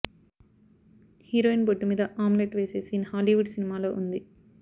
heroine బొడ్డు మీద omelette వేసే సీన్ హాలీవుడ్ సినిమాలో ఉంది